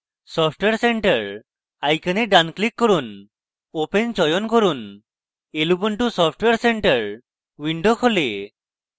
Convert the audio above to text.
software center icon ডান click করুন open চয়ন করুন lubuntu software center window খোলে